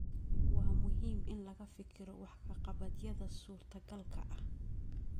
Waa muhiim in laga fikiro wax ka qabadyada suurtagalka ah